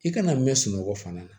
I kana mɛn sunɔgɔ fana na